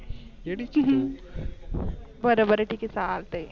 बर बर चालते.